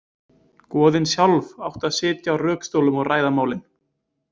Goðin sjálf áttu að sitja á rökstólum og ræða málin.